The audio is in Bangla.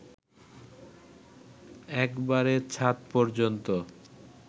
একেবারে ছাঁদ পর্যন্ত